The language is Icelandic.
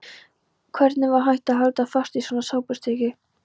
Hvernig var hægt að halda fast í svona sápustykki!